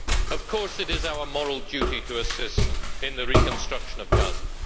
Of course, it is our moral duty to assist in the reconstruction of Gaza.